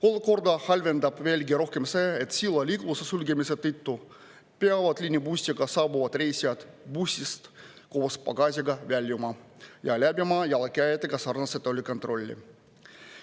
Olukorda halvendab veelgi rohkem see, et sillal liikluse sulgemise tõttu peavad liinibussiga saabuvad reisijad bussist koos pagasiga väljuma ja läbima jalakäijatega sarnase tollikontrolli.